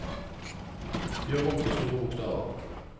Gjør om til store bokstaver